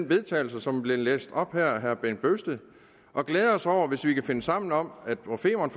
vedtagelse som blev læst op af herre bent bøgsted og glæder os over hvis vi kan finde sammen om at på femern